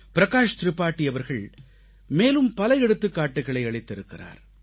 பிரகாஷ் திரிபாதி அவர்கள் மேலும் பல எடுத்துக்காட்டுகளை அளித்திருக்கிறார்